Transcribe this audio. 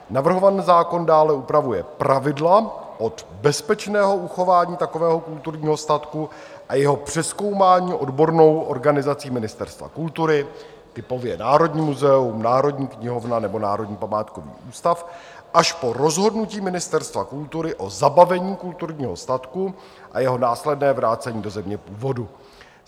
Navrhovaný zákon dále upravuje pravidla od bezpečného uchování takového kulturního statku a jeho přezkoumání odbornou organizací Ministerstva kultury, typově Národní muzeum, Národní knihovna nebo Národní památkový ústav, až po rozhodnutí Ministerstva kultury o zabavení kulturního statku a jeho následné vrácení do země původu.